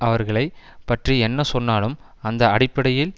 அவர்களை பற்றி என்ன சொன்னாலும் அந்த அடிப்படையில்